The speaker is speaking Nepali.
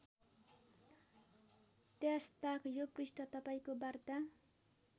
त्यसताक यो पृष्ठ तपाईँको वार्ता